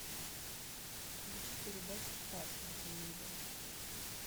включи передачу спас на телевизоре